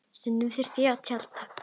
Stundum þurftum við að tjalda.